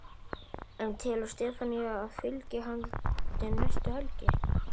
En telur Stefanía að fylgið haldi næstu helgi?